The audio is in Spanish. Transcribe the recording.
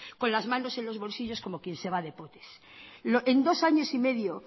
con las manos en los bolsillos como quien se va de potes en dos años y medio